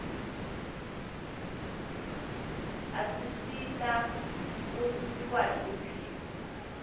asisita kutsi sikwati kuphila